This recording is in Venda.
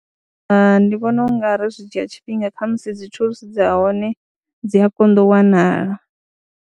Hai, ndi vhona u nga ri zwi dzhia tshifhinga kha musi dzi thulusi dza hone dzi a konḓa u wanala.